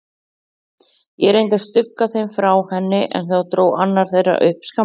Ég reyndi að stugga þeim frá henni, en þá dró annar þeirra upp skammbyssu.